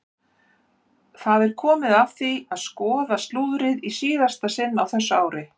Það er komið að því að skoða slúðrið í síðasta sinn á þessu ári!